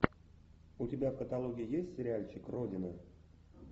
у тебя в каталоге есть сериальчик родина